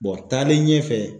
taale ɲɛfɛ.